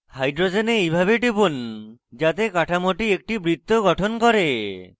hydrogens এইভাবে টিপুন যাতে কাঠামোটি একটি বৃত্ত গঠন করে